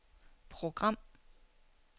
program